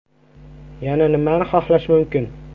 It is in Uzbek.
Yana nimani xohlash mumkin?